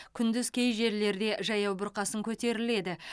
күндіз кей жерлерде жаяу бұрқасын көтеріледі